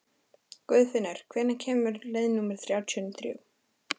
Guðfinnur, hvenær kemur leið númer þrjátíu og þrjú?